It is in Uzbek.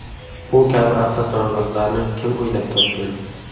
Bu kabi avtoturargohlarni kim o‘ylab topgan?